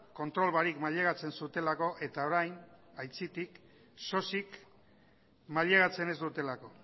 kontrol barik mailegatzen zutelako eta orain aitzitik sosik mailegatzen ez dutelako